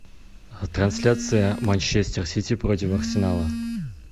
трансляция манчестер сити против арсенала